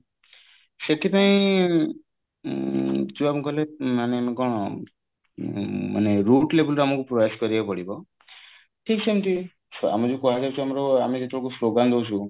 ସେଥିପାଇଁ ଯୋଉ ଆମେ କହିଲେ ମାନେ କଣ ମାନେ root level ରୁ ଆମକୁ ପ୍ରୟାସ କରିବାକୁ ପଡିବ ଠିକ ସେମିତି ଆମେ ଯୋଉ କୁହା ଯାଉଛି ଆମର ଆମେ ଯେତେବେଳକୁ ସ୍ଲୋଗାନ ଦଉଛୁ